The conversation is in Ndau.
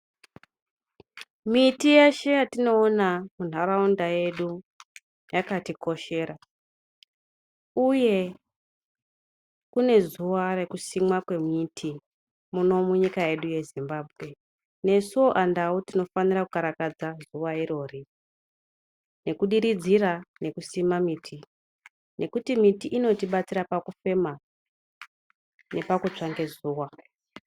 Miti yeshe yatinoona munharaunda yedu yakatikoshera. Uye kune zuva rikusimwa miti muno munyika yedu yeZimbabwe. Nesuo aNdau tinofanira kukarakadza zuva irori, nekudiridzira nekusima miti. nokuti miti inotibatsira pakufema nepakutsva ngezuwa.